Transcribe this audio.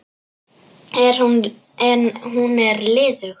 En hún er liðug.